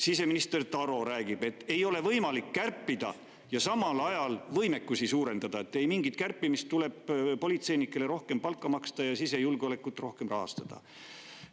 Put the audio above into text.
Siseminister Taro räägib, et ei ole võimalik kärpida ja samal ajal võimekusi suurendada, nii et ei mingit kärpimist, tuleb politseinikele rohkem palka maksta ja sisejulgeolekut rohkem rahastada.